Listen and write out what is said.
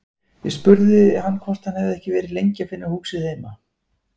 Ég spurði hann hvort hann hefði ekki verið lengi að finna húsið heima.